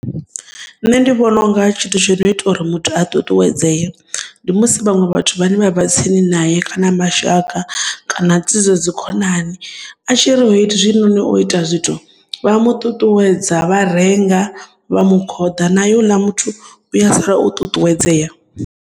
Nṋe ndi vhona unga tshithu tsho no ita uri muthu a ṱuṱuwedzee ndi musi vhaṅwe vhathu vhane vha vha tsini naye kana mashaka kana tsivhudzo dzi khonani a tshiri hezwi noni u ita zwithu vha mu ṱuṱuwedza vha renga vha mu khoḓa naye hoḽa muthu u a sala o ṱuṱuwedzea.